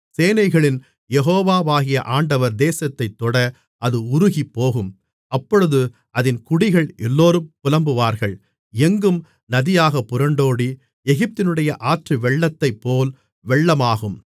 சேனைகளின் யெகோவாகிய ஆண்டவர் தேசத்தைத் தொட அது உருகிப்போகும் அப்பொழுது அதின் குடிகள் எல்லோரும் புலம்புவார்கள் எங்கும் நதியாகப் புரண்டோடி எகிப்தினுடைய ஆற்று வெள்ளத்தைப்போல் வெள்ளமாகும்